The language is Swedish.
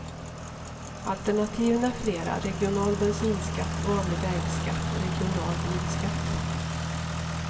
Alternativen är flera, regional bensinskatt, vanlig vägskatt, regional bilskatt.